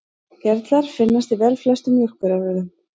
Gerlar finnast í velflestum mjólkurafurðum.